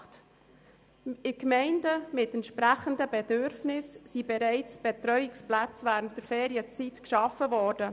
In Gemeinden mit entsprechenden Bedürfnissen sind Betreuungsplätze während den Ferien geschaffen worden.